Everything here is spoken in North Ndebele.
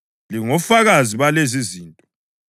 Lingofakazi balezizinto.